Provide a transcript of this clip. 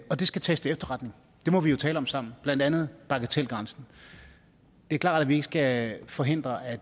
og det skal tages til efterretning det må vi jo tale om sammen blandt andet bagatelgrænsen det er klart at vi ikke skal forhindre at